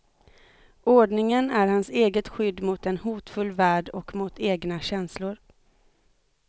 Ordningen är hans eget skydd mot en hotfull värld och mot egna känslor.